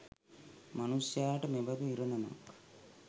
මනුෂ්‍යාට මෙබඳු ඉරණමක්